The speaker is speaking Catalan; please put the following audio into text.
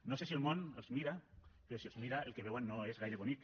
no sé si el món els mira però si els mira el que veuen no és gaire bonic